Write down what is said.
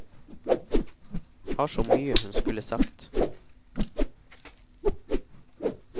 Har så mye hun skulle sagt.